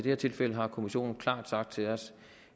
her tilfælde har kommissionen klart sagt til os